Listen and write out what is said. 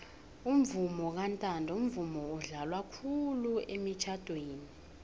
umvumo kantando mvumo odlalwa khulu emitjnadweni